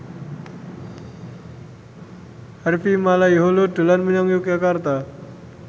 Harvey Malaiholo dolan menyang Yogyakarta